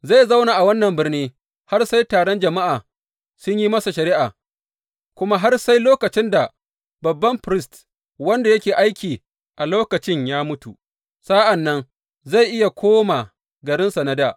Zai zauna a wannan birni har sai taron jama’a sun yi masa shari’a, kuma har sai lokacin da babban firist wanda yake aiki a lokacin ya mutu, sa’an nan zai iya koma garinsa na dā.